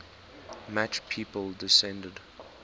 match people descended